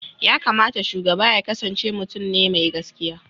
yakamata shugaba yaƙasance mutun ne me gaskiya